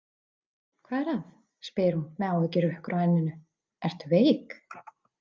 Hvað er að, spyr hún með áhyggjuhrukkur á enninu, „ertu veik“?